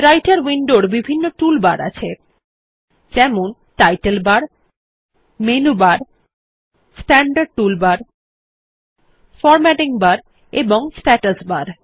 রাইটের উইন্ডোর বিভিন্ন টুল বার আছে যেমন title bar menu bar standard toolbar formatting bar এবং স্ট্যাটাস বার